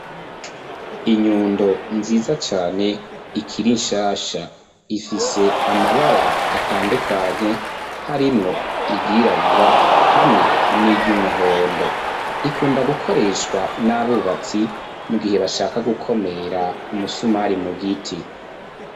Inyundo nziza cane ikira inshasha ifise amabara atandukanye harimwo iryirabura hamwe n'iryo umuhondo ikunda gukoreshwa n'abubatsi mu gihe bashaka gukomera umusumari mu giti.